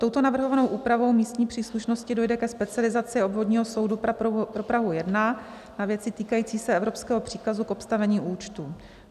Touto navrhovanou úpravou místní příslušnosti dojde ke specializaci obvodního soudu pro Prahu 1 na věci týkající se evropského příkazu k obstavení účtu.